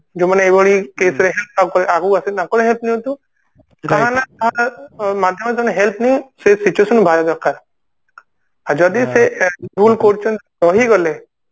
ଯେଉଁ ମାନେ ଏଇଭଳି case ରେ ଆଗୁକୁ ଆସୁଛନ୍ତି ତାଙ୍କଠୁ help ନିଅନ୍ତୁ ତମ help ନଉ ସେଇ situation ରୁ ତମେ ବାହାରିବା ଦରକାର ଆଉ ଯଦି ସେ ଭୁଲ କରୁଛନ୍ତି ସହିଗଲେ